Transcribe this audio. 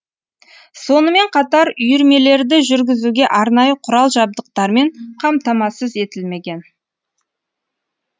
сонымен қатар үйірмелерді жүргізуге арнайы құрал жабдықтармен қамтамасыз етілмеген